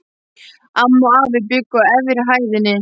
Amma og afi bjuggu á efri hæðinni.